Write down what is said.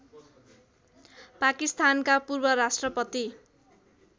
पाकिस्तानका पूर्वराष्ट्रपति